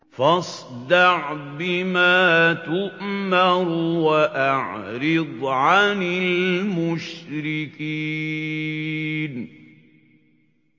فَاصْدَعْ بِمَا تُؤْمَرُ وَأَعْرِضْ عَنِ الْمُشْرِكِينَ